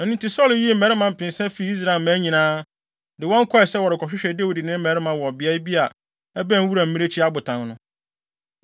Ɛno nti Saulo yii mmarima mpensa fii Israel mmaa nyinaa, de wɔn kɔe sɛ wɔrekɔhwehwɛ Dawid ne ne mmarima wɔ beae bi a ɛbɛn Wuram Mmirekyi Abotan no.